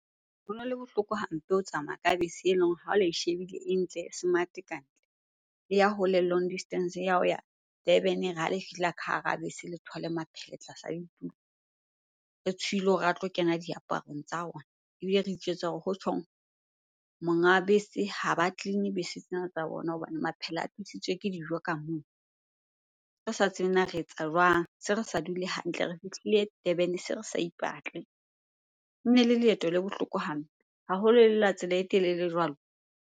Hono le bohloko hampe ho tsamaya ka bese eleng ha le e shebile e ntle, e smart kantle. E ya hole, long distance ya ho ya Durban e re ha le fihla ka hara bese le thole maphele tlasa a ditulo. Re tshohile hore a tlo kena diaparong tsa rona ebile re itjwetsa hore hotjhong monga bese ha ba clean-e bese tsena tsa bona hobane maphela a tlisitswe ke dijo ka mono. Re sa tsebe na re etsa jwang? Se re sa dule hantle, re fihlile Durban se re sa ipatle. Ene le leeto le bohloko hampe haholo e le la tsela e telele jwalo.